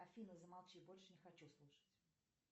афина замолчи больше не хочу слушать